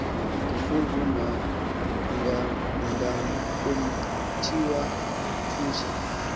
ndifunguma nda kumtywatyusha